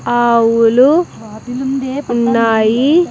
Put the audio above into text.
ఆవులు ఉన్నాయి.